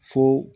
Fo